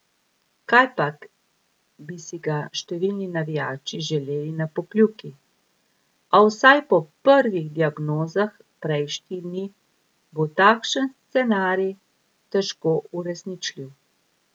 Kajpak bi si ga številni navijači želeli na Pokljuki, a vsaj po prvih diagnozah prejšnjih dni bo takšen scenarij težko uresničljiv.